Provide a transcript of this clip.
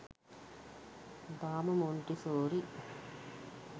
තාම මොන්ටිසෝරි